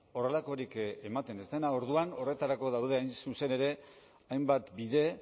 horrelakorik ematen ez dena orduan horretarako daude hain zuzen ere hainbat bide